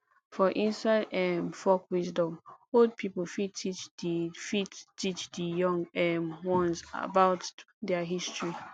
for inside um folk wisdom old pipo fit teach di fit teach di young um ones about their history